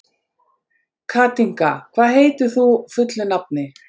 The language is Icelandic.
Katinka, hvað heitir þú fullu nafni?